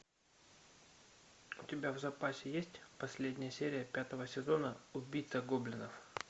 у тебя в запасе есть последняя серия пятого сезона убийца гоблинов